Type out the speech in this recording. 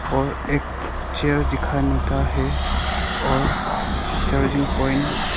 और एक चेयर दिखाई मिलता है और चार्जिंग पॉइंट --